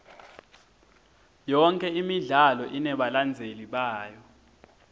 yonke imidlalo inebalandzeli bayo